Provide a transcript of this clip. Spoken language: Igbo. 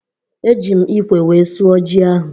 Eji m ịkwe wee sụọ ji ahụ